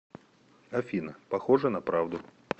афина похоже на правду